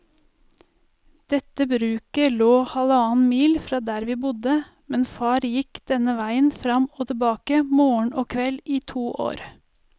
Dette bruket lå halvannen mil fra der vi bodde, men far gikk denne veien fram og tilbake morgen og kveld i to år.